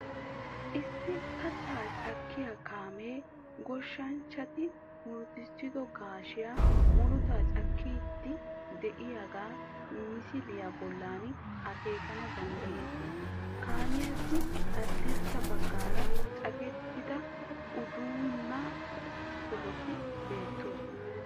Issi kattaa cakkiya kaamee goshshanchchati murutissido gaashiya murutaa cakkiiddi de"iyogaa misiliya bollan akeekana danddayettees Kaamiyassi haddirssa baggaara cakettida unddenna sohotikka beettoosona